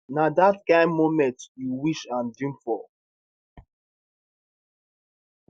na dat kain moments you wish and dream for